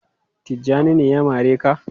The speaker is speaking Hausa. Tijjani ne ya mare ka?.